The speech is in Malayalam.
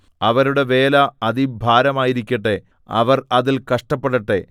അവരുടെ വേല അതിഭാരമായിരിക്കട്ടെ അവർ അതിൽ കഷ്ടപ്പെടട്ടെ